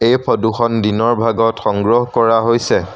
এই ফটোখন দিনৰ ভাগত সংগ্ৰহ কৰা হৈছে।